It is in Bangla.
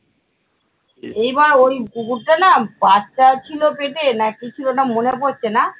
এইবার ওই কুকুরটা না বাচ্চা ছিল পেটে না কি ছিল ওটা মনে পড়ছে না